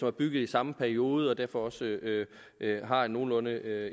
er bygget i samme periode og derfor også har et nogenlunde